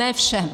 Ne všem.